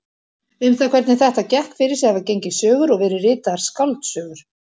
Um það hvernig þetta gekk fyrir sig hafa gengið sögur og verið ritaðar skáldsögur.